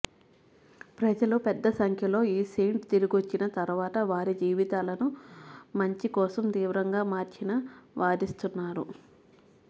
ప్రజలు పెద్ద సంఖ్యలో ఈ సెయింట్ తిరిగొచ్చిన తర్వాత వారి జీవితాలను మంచి కోసం తీవ్రంగా మార్చిన వాదిస్తున్నారు